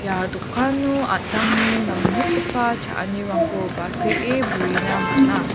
ia dokano an·tangni nangnikgipa cha·anirangko basee brena man·a.